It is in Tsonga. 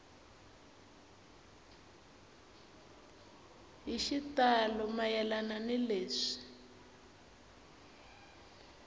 hi xitalo mayelana ni leswi